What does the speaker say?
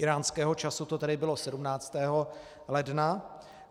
Íránského času to tedy bylo 17. ledna.